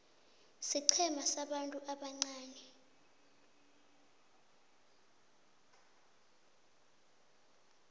siqhema sabantu ubuncani